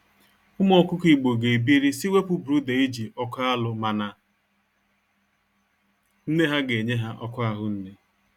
Ụmụ ọkụkọ igbo ga ebiri si wepụ brooder eji ọkụ alụ mana nne ha ga enye ha ọkụ ahụnne.